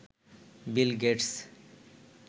Bill Gates